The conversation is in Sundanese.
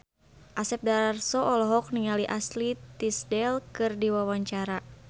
Asep Darso olohok ningali Ashley Tisdale keur diwawancara